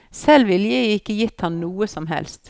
Selv ville jeg ikke gitt ham noe som helst.